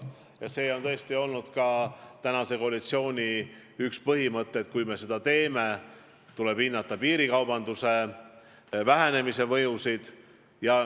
Ja üks praeguse koalitsiooni põhimõtteid on olnud, et kui me seda teeme, tuleb hinnata selle sammu mõju piirikaubanduse vähenemisele.